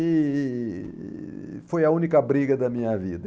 E e e foi a única briga da minha vida.